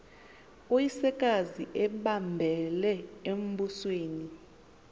uyisekazi embambele embusweni